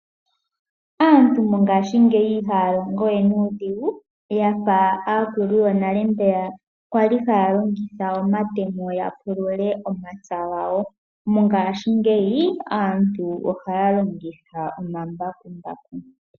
Aantu mongaashingeyi ihaya longo we nuudhigu yafa aakulu yonale mbeya kwali haya longitha omatemo ya pulule omapya gawo. Mongaashingeyi aantu ohaya longitha omambakumbaku.